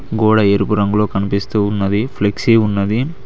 గోడ ఎరుపు రంగులో కనిపిస్తూ ఉన్నది ఫ్లెక్సీ ఉన్నది.